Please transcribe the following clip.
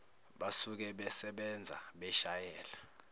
basuke besebenza beshayela